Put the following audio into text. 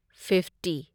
fifty